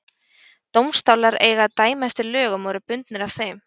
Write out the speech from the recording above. Dómstólar eiga að dæma eftir lögum og eru bundnir af þeim.